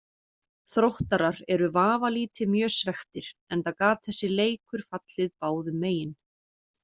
Þróttarar eru vafalítið mjög svekktir enda gat þessi leikur fallið báðum megin.